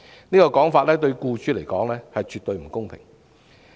這種說法對僱主來說絕對不公平。